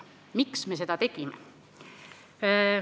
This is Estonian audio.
Miks me seda tegime?